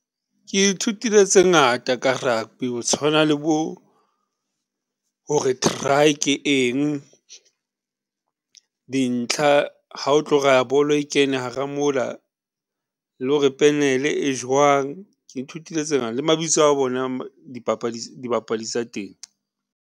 Ke ithutile tse ngata ka rugby, ho tshwana le bo hore try ke eng dintlha ha o tlo raya bolo e kene hara moo la, le hore penele e jwang. Ke ithutile tse le mabitso a bona dibapadi tsa teng.